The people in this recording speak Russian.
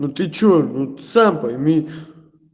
ты что вот сам пойми